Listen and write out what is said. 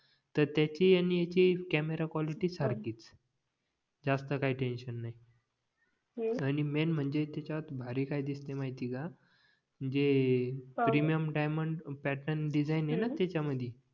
तर त्याची आणि ह्याची कॅमेरा क्वालिटी सारखीच जास्त काही टेन्शन नाही आणि मेन म्हणजे त्याच्यात भारी काय दिसते माहिते आहे का जे प्रीमियम डायमंड पॅटर्न डिसाईन होईना त्याच्या मधी